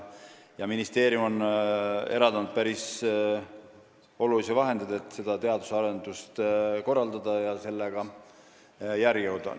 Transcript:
Ministeerium on eraldanud päris palju vahendeid, et seda teadusearendust korraldada ja sellega järele jõuda.